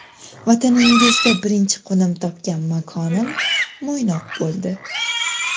Vataningizda birinchi qo‘nim topgan makonim Mo‘ynoq bo‘ldi.